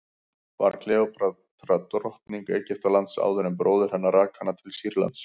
var kleópatra drottning egyptalands áður en bróðir hennar rak hana til sýrlands